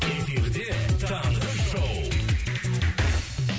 эфирде таңғы шоу